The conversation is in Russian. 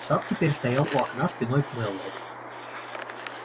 сатт теперь стоял у окна спиной к мэллоу